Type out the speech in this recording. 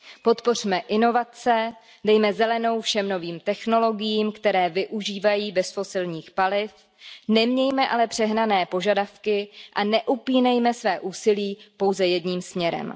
Podpořme inovace, dejme zelenou všem novým technologiím, které využívají bezfosilních paliv, nemějme ale přehnané požadavky a neupínejme své úsilí pouze jedním směrem.